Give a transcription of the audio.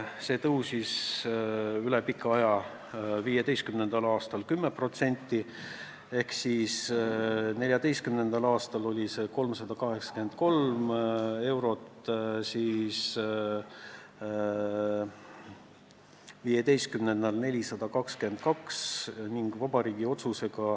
See kasvas üle pika aja 2015. aastal 10%: 2014. aastal oli see 383 eurot ja 2015. aastal 422 eurot.